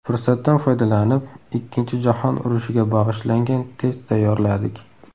Fursatdan foydalanib, Ikkinchi jahon urushiga bag‘ishlangan test tayyorladik.